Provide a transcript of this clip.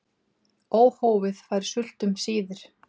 Óhófið fær sult um síðir.